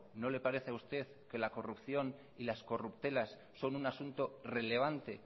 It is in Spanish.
no le parece a usted que la corrupción y las corruptelas son un asunto relevante